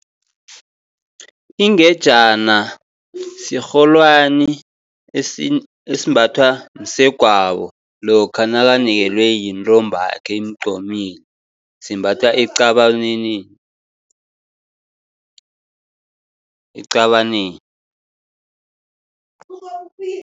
Ingejana sirholwani esimbathwa msegwabo, lokha nakanikelwe yintombakhe imqomile, simbathwa eqabaneni.